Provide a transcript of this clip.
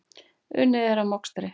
Unnið er að mokstri.